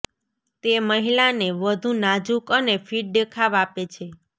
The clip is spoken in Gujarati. તે મહિલાને વધુ નાજુક અને ફિટ દેખાવ આપે છે